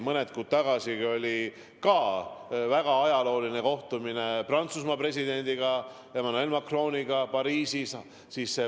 Mõned kuud tagasi oli mul väga ajalooline kohtumine Prantsusmaa presidendi Emmanuel Macroniga Pariisis.